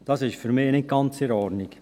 dies ist für mich nicht ganz in Ordnung.